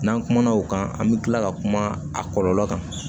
N'an kumana o kan an bi kila ka kuma a kɔlɔlɔ kan